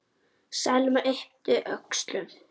Selma yppti öxlum.